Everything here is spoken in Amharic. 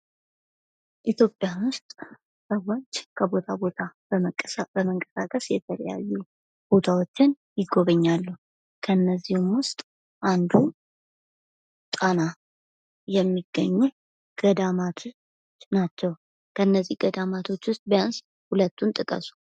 ኢትዮጵያ ውስጥ ሰዎች ከቦታ ቦታ በመንቀሳቀስ የተለያዩ ቦታዎችን ይጎበኛሉ። ከነዚህም ውስጥ አንዱ ጣና የሚገኙ ገዳማቶች ናቸው። ከነዚህ ገዳማቶች ውስጥ ቢያንስ 2ቱን ጥቀሱ?